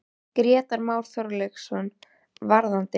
Grétar Már Þorkelsson: Varðandi?